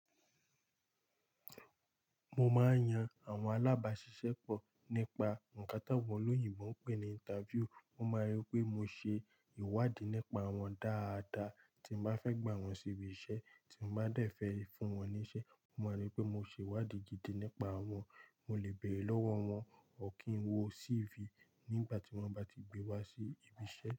Mo máa ń yan àwọn alábáṣiṣẹ́ pọ̀ nípa nǹkan táwọn olóyìnbo, ń pè é ní interview. Wọ́n máa rí i pé mo ṣe ìwádìí nípa wọ́n dáadáa, tí mo bá fẹ́ gbà wọ́n síbi iṣẹ́ tí mo bá dẹ̀ fẹ́ fún wọ́n níṣe. Wọ́n máa rí i pé mo ṣe ìwádìí gidi nípa wọ́n, mo lè bẹ̀rẹ̀ lọ́wọ́ wọ́n, ọ́ kì ń wo CV nígbà tí wọ́n bá ti gbé wá sí ibi iṣẹ́.